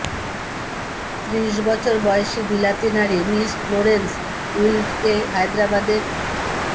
ত্রিশ বছর বয়সী বিলাতি নারী মিস ফ্লোরেন্স উইলডকে হায়াদ্রাবাদের